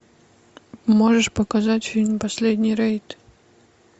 можешь показать фильм последний рейд